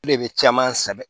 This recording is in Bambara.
E de bɛ caman sɛbɛ